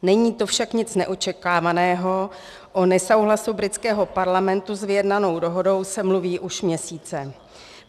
Není to však nic neočekávaného, o nesouhlasu britského parlamentu s vyjednanou dohodou se mluví už měsíce.